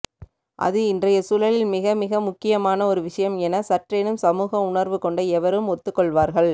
அது இன்றையசூழலில் மிகமிக முக்கியமான ஒரு விஷயம் என சற்றேனும் சமூக உணர்வுகொண்ட எவரும் ஒத்துக்கொள்வார்கள்